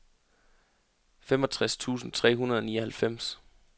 femogtres tusind tre hundrede og nioghalvfems